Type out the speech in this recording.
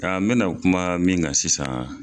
Nka n mɛ na kuma min kan sisan